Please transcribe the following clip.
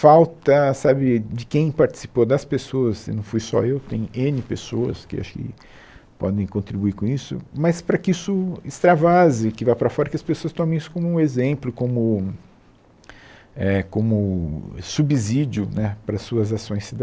Falta sabe de quem participou das pessoas, e não fui só eu, tem ene pessoas que acho que podem contribuir com isso, mas para que isso extravase, que vá para fora, que as pessoas tomem isso como exemplo, como eh como subsídio né para as suas ações